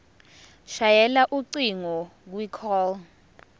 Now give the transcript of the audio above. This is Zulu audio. shayela ucingo kwicall